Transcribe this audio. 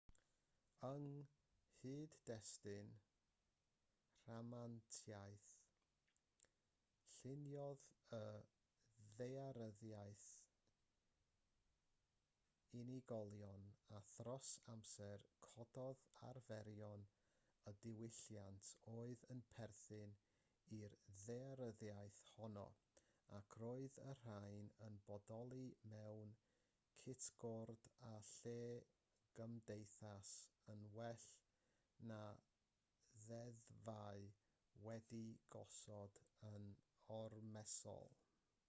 yng nghyd-destun rhamantiaeth lluniodd y ddaearyddiaeth unigolion a thros amser cododd arferion a diwylliant oedd yn perthyn i'r ddaearyddiaeth honno ac roedd y rhain yn bodoli mewn cytgord â lle'r gymdeithas yn well na ddeddfau wedi'u gosod yn ormesol